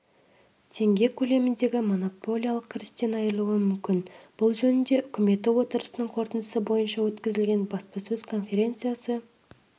теңге көлеміндегі монополиялық кірістен айырылуы мүмкін бұл жөнінде үкіметі отырысының қорытындысы бойынша өткізілген баспасөз конференциясы